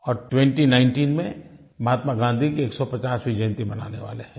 और 2019 में महात्मा गाँधी की 150वीं जयन्ती मनाने वाले हैं